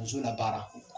Muso la baara